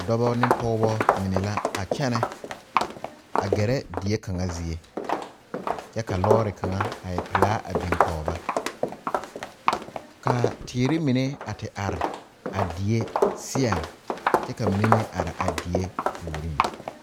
Dɔba ne pɔgeba mine la a kyɛnɛ a gɛrɛ die kaŋa zie kyɛ ka lɔɔre kaŋa a e pelaa a biŋ kɔge ba ka teere mine a te are a die seɛŋ kyɛ ka mine meŋ are a die puoriŋ.